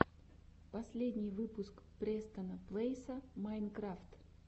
последний выпуск престона плэйса майнкрафт